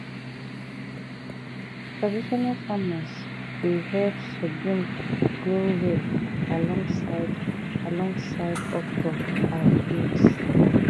traditional farmers dey help sorghum grow well alongside alongside okra and beans.